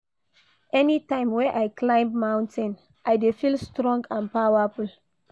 Anytime wey I climb mountain, I dey feel strong and powerful.